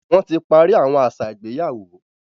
Wọ́n ti parí àwọn àṣà ìgbéyàwó.